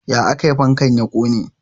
Ya aka yi fankan ya ƙone?